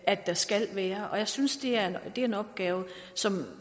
at der skal være og jeg synes det er en opgave som